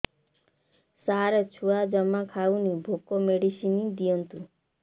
ସାର ଛୁଆ ଜମା ଖାଉନି ଭୋକ ମେଡିସିନ ଦିଅନ୍ତୁ